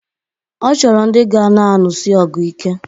Ọ chọrọ ndi ga na-anụsi ọgụ ike.